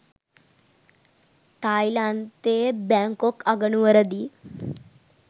තායිලන්තයේ Bangkok අගනුවරදී